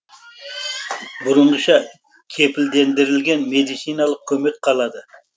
бұрынғыша кепілдендірілген медициналық көмек қалады